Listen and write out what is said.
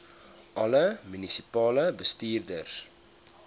alle munisipale bestuurders